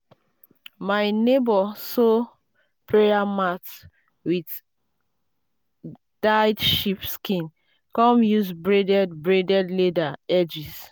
um my neighbor sew prayer mat with dyed sheep skin come use braided braided leather edges.